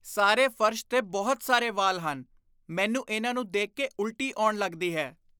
ਸਾਰੇ ਫਰਸ਼ 'ਤੇ ਬਹੁਤ ਸਾਰੇ ਵਾਲ ਹਨ। ਮੈਨੂੰ ਇਹਨਾਂ ਨੂੰ ਦੇਖ ਕੇ ਉਲਟੀ ਆਉਣ ਲੱਗਦੀ ਹੈ।